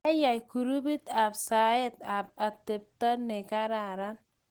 Kiayay grupit ab saet saet ab atepto ne kararan